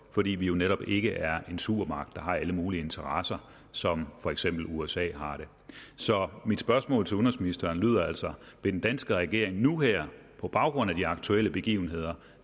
fordi vi netop ikke er en supermagt der har alle mulige interesser som for eksempel usa har det så mit spørgsmål til udenrigsministeren lyder altså vil den danske regering nu her på baggrund af de aktuelle begivenheder